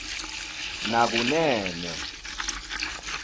nakunene